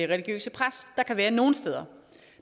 religiøse pres der kan være nogle steder